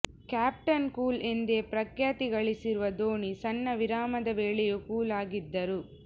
captain cool ಎಂದೇ ಪ್ರಖ್ಯಾತಿಗಳಿಸಿರುವ ಧೋನಿ ಸಣ್ಣ ವಿರಾಮದ ವೇಳೆಯೂ ಕೂಲ್ ಆಗಿದ್ದರು